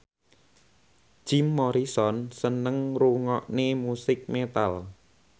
Jim Morrison seneng ngrungokne musik metal